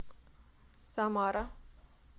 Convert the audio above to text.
самара